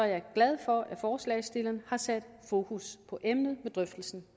jeg glad for at forslagsstillerne har sat fokus på emnet med drøftelsen